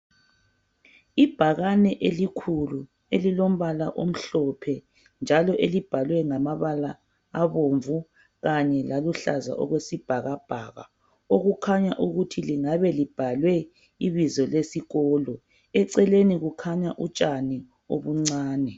Ibhakane elikhulu elilombala omhlophe elibhalwe ngamabala abomvu kanye laluhlaza okwesibhakabhaka. Okukhanya ukuthi lingabe libhalwe ibizo lesikolo. Eceleni kukhanya utshani obuncane.